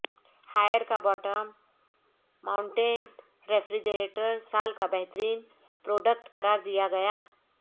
higher کا bottom mounted refrigerator سال کا بہترین پروڈ کٹ قرارد یا گیا